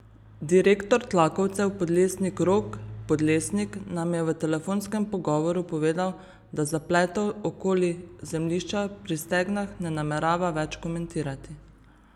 Direktor Tlakovcev Podlesnik Rok Podlesnik nam je v telefonskem pogovoru povedal, da zapletov okoli zemljišča pri Stegnah ne namerava več komentirati.